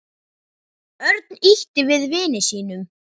Örn ýtti við vini sínum.